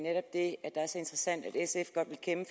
at det er så interessant at sf godt vil kæmpe